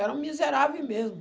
Era um miserável mesmo.